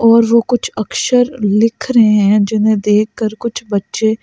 और वो कुछ अक्षर लिख रहे हैं जिन्हें देखकर कुछ बच्चे.--